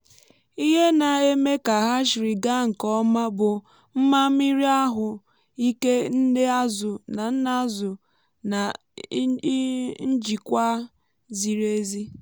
ihe na-eme ka hatchery gaa nke ọma bụ mma mmiri ahụ ike nne azụ na nna ázụ na njikwa ziri ezi.